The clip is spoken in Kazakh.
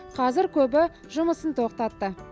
қазір көбі жұмысын тоқтатты